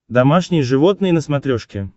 домашние животные на смотрешке